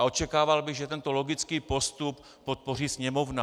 A očekával bych, že tento logický postup podpoří Sněmovna.